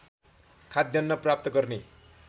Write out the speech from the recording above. खाद्यान्न प्राप्त गर्ने